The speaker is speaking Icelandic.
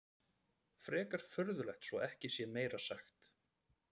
Frekar furðulegt svo ekki sé meira sagt.